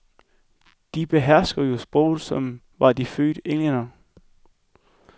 De behersker jo sproget som var de fødte englændere.